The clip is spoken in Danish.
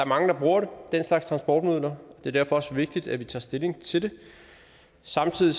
mange der bruger den slags transportmidler det er derfor også vigtigt at vi tager stilling til det samtidig